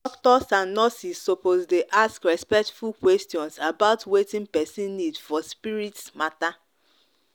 doctors and nurses suppose dey ask respectful questions about wetin person need for spirit spirit matter.